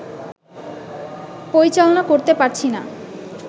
পরিচালনা করতে পারছি না